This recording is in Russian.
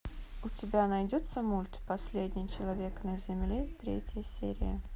у тебя найдется мульт последний человек на земле третья серия